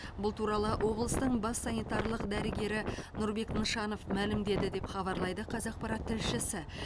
бұл туралы облыстың бас санитарлық дәрігері нұрбек нышанов мәлімдеді деп хабарлайды қазақпарат тілшісі